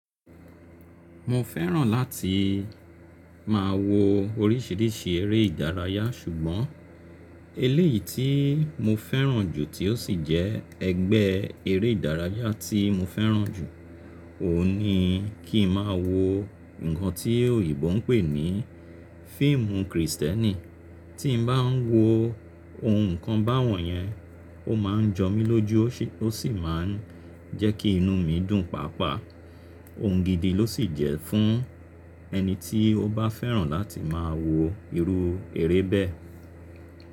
Mo fẹ́ràn láti máa wo oríṣiríṣi eré ìdárayá ṣùgbọ́n eléyìí tí mo fẹ́ràn jù tí ó sì jẹ́ ẹgbẹ́ eré ìdárayá tí mo fẹ́ràn jù, òun ni kí n máa wo ǹkan tí òyìnbó ń pè ní fíìmù Krìstẹ́nì. Tí n bá ń wo ohun ǹkan báwọn yẹn, ó máa ń jọ mí lójú ó sì máa ń jẹ́ kí inú mi dùn pàápàá. Òun gidi ló sì jẹ́ fún ẹni tí ó bá fẹ́ràn láti máa wo irú eré bẹ́ẹ̀.